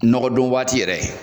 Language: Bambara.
Nɔgɔdon waati yɛrɛ